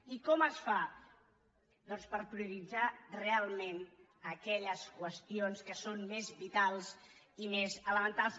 i com es fa doncs per prioritzar realment aquelles qüestions que són més vitals i més elementals